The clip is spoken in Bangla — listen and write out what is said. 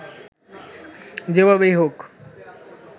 যেভাবেই হোক